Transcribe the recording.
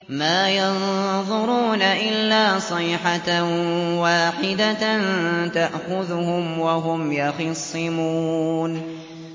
مَا يَنظُرُونَ إِلَّا صَيْحَةً وَاحِدَةً تَأْخُذُهُمْ وَهُمْ يَخِصِّمُونَ